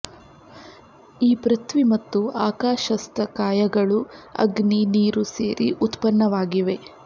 ಈ ಪೃಥ್ವಿ ಮತ್ತು ಆಕಾಶಸ್ಥ ಕಾಯಗಳು ಅಗ್ನಿ ನೀರು ಸೇರಿ ಉತ್ಪನ್ನವಾಗಿವೆ